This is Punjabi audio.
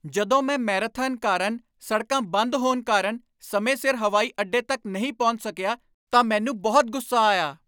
ਜਦੋਂ ਮੈਂ ਮੈਰਾਥਨ ਕਾਰਨ ਸੜਕਾਂ ਬੰਦ ਹੋਣ ਕਾਰਨ ਸਮੇਂ ਸਿਰ ਹਵਾਈ ਅੱਡੇ ਤੱਕ ਨਹੀਂ ਪਹੁੰਚ ਸਕਿਆ ਤਾਂ ਮੈਨੂੰ ਬਹੁਤ ਗੁੱਸਾ ਆਇਆ।